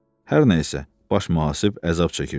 Hər nə isə, baş mühasib əzab çəkirdi.